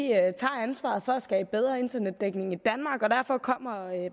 tager ansvaret for at skabe bedre internetdækning i danmark og derfor kommer